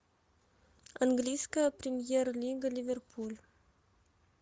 английская премьер лига ливерпуль